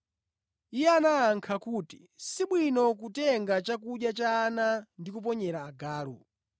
Iye anayankha kuti, “Sibwino kutenga chakudya cha ana ndi kuponyera agalu.”